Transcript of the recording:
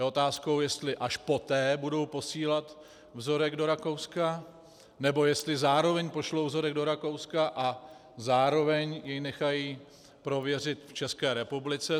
Je otázkou, jestli až poté budou posílat vzorek do Rakouska, nebo jestli zároveň pošlou vzorek do Rakouska a zároveň jej nechají prověřit v České republice.